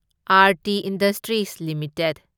Aarti Industries limited